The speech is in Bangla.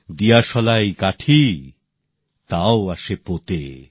দিয়াশালাই কাঠি তাও আসে পোতে